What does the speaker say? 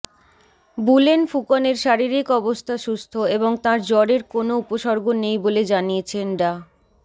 Boolean ফুকনের শারীরিক অবস্থা সুস্থ এবং তাঁর জ্বরের কোনও উপসর্গ নেই বলে জানিয়েছেন ডা